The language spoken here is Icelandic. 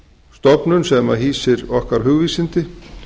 stofnun sem hýsir okkar hugvísindi